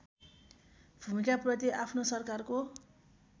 भूमिकाप्रति आफ्नो सरकारको